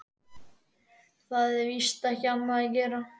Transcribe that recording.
Það er víst ekki annað að gera.